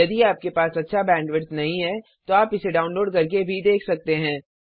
यदि आपके पास अच्छा बैंडविड्थ नहीं है तो आप इसे डाउनलोड करके देख सकते हैं